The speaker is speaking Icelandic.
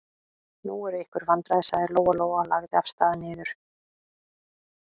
Nú eru einhver vandræði, sagði Lóa-Lóa og lagði af stað niður.